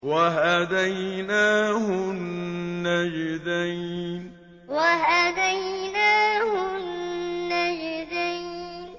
وَهَدَيْنَاهُ النَّجْدَيْنِ وَهَدَيْنَاهُ النَّجْدَيْنِ